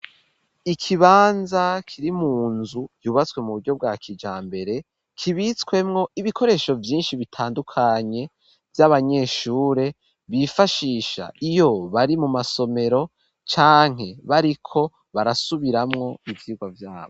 Ikibanza kiri mu nzu yubatswe mu buryo bwa kijambere kibitswemwo ibikoresho vyinshi bitandukanye vy'abanyeshure bifashisha iyo bari mu masomero canke bariko barasubiramwo ivyirwa vyabo.